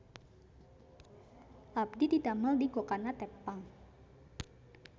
Abdi didamel di Gokana Teppan